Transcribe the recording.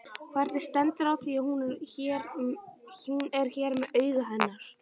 Hvernig stendur á því að hún er með augun hennar?